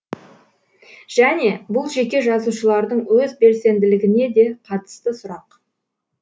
және бұл жеке жазушылардың өз белсенділігіне де қатысты сұрақ